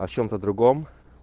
о чем-то другом